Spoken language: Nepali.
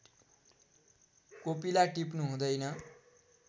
कोपिला टिप्नु हुँदैन